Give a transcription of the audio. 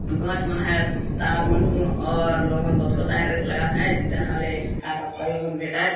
गच मन है तार मन हु और लोग रेस लगात है जीतन हेला का-का-प्राइज बिटाएल --